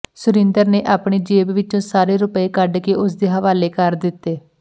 ਸੁਰਿੰਦਰ ਨੇ ਆਪਣੀ ਜੇਬ ਵਿਚੋਂ ਸਾਰੇ ਰੁਪਏ ਕੱਢ ਕੇ ਉਸਦੇ ਹਵਾਲੇ ਕਰ ਦਿੱਤੇ